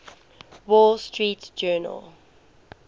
wall street journal